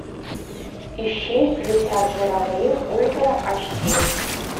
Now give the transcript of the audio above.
ищи летят журавли ультра аш ди